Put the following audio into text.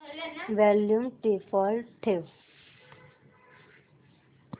volume default ठेव